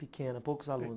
Pequena, poucos alunos.